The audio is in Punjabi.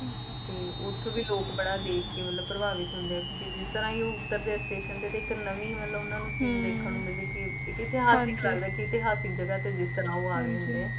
ਤੇ ਓਥੇ ਲੋਕ ਬੜਾ ਦੇਖ ਕੇ ਪ੍ਰਭਾਵਿਤ ਹੁੰਦੇ ਏ ਜਿਸ ਤਰਹ ਉਤਰਦੇ station ਤੇ ਇਕ ਨਵੀਂ ਮਤਲਬ ਓਹਨਾ ਨੂ ਚੀਜ ਦੇਖਣ ਨੂੰ ਮਿਲਦੀ ਏ ਏਡਾ ਲਗਦਾ ਜਿੱਦਾ ਇਕ ਇਤਿਹਾਸਿਕ ਜਗ੍ਹਾ ਤੇ ਆਏ ਹੁੰਦੇ